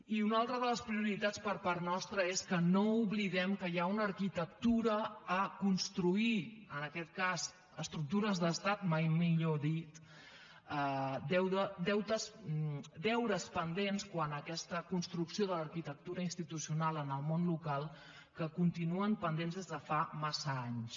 i una altra de les prioritats per part nostra és que no oblidem que hi ha una arquitectura a construir en aquest cas estructures d’estat mai millor dit deures pendents quant a aquesta construcció de l’arquitectura institucional en el món local que continuen pendents des de fa massa anys